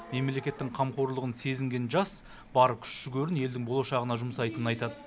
мемлекеттің қамқорлығын сезінген жас бар күш жігерін елдің болашағына жұмсайтынын айтад